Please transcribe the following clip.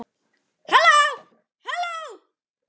HALLÓ, HALLÓ.